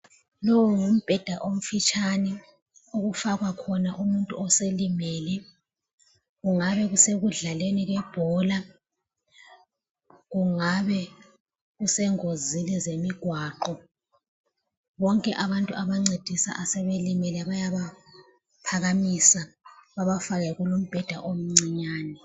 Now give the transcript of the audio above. Lowu ngumbheda omfitshane okufakwa khona umuntu oselimele kungabe kusekudlaleni kwebhola, kungabe kusengozini zemigwaqo, bonke abantu abancedisa asebelimele bayaba phakamisa babafaka kulumbheda omncinyane.